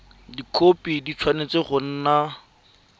dikhopi di tshwanetse go nna